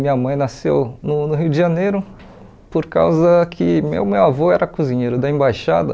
Minha mãe nasceu no no Rio de Janeiro por causa que meu meu avô era cozinheiro da embaixada.